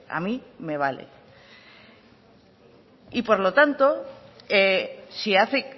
a mí me vale y por lo tanto si hace